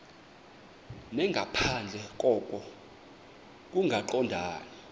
nangaphandle koko kungaqondani